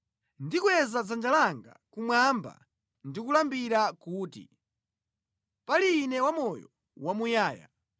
Ndikweza dzanja langa kumwamba ndi kulumbira kuti, ‘Pali Ine wamoyo wamuyaya,